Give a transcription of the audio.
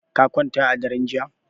Ka kwanta a daren jiya?